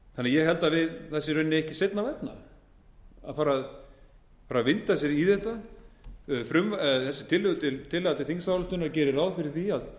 ég held að það sé í rauninni ekki seinna vænna að fara að vinda sér í þetta þessi tillaga til þingsályktunar gerir ráð fyrir því að